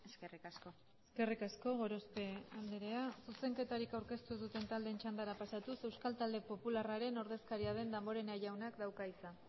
eskerrik asko eskerrik asko gorospe andrea zuzenketarik aurkeztu ez duten taldeen txandara pasatuz euskal talde popularraren ordezkaria den damborenea jaunak dauka hitza